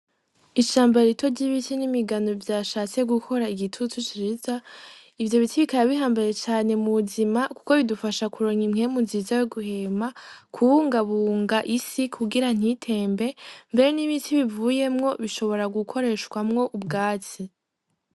Ishamba ryiza ry'ibiti n'imigano vyashatse gukora igitutu ciza ivyo biti bikaba bihambaye cane mu buzima kuko bidufasha mukuronka impwemu nziza yo guhema kubungabunga isi kugira ntitembe mbere n'ibiti bivuyemwo bishobora gukoreshamwo ubwatsi.